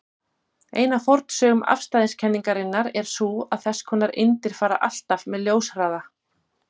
Ein af forsögnum afstæðiskenningarinnar er sú að þess konar eindir fara alltaf með ljóshraða.